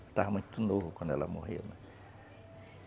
Eu estava muito novo quando ela morreu.